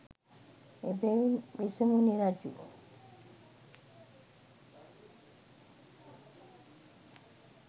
එබැවින් වෙසමුණි රජු